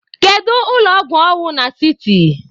Kedu ụlọ ọgwụ ọ na siti?